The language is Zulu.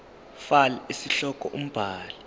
fal isihloko umbhali